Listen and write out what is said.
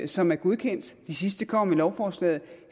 som er godkendt de sidste kommer med i lovforslaget